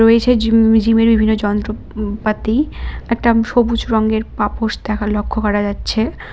রয়েছে জিম জিমের বিভিন্ন যন্ত্রপাতি একটা সবুজ রঙের পাপোশ দেখা লক্ষ করা যাচ্ছে।